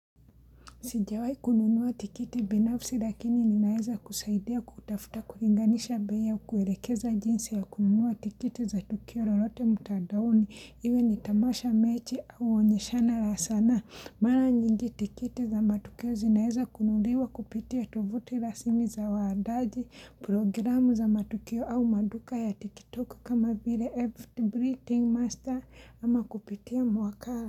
Sijawahi kununuwa tikiti binafsi lakini ninaweza kusaidia kutafuta, kulinganisha bei kuelekeza jinsi ya kununua tikiti za tukio lolote mtandaoni iwe ni tamasha, mechi au uonyeshana la sana. Mara nyingi tikiti za matukio zinaweza kununuliwa kupitia tovuti rasmi za waandaji, programu za matukio au maduka ya tiktok kama vile breathing master ama kupitia mwakala.